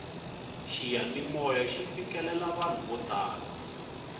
xiyanimoya xi fikelela vanhu vo tala